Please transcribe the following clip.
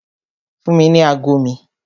Fún mi ní ago mi!